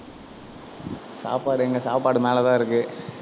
சாப்பாடு எங்க சாப்பாடு மேலதான் இருக்கு.